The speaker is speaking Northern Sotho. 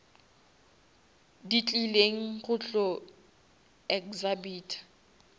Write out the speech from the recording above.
di tlileng go tlo exhibita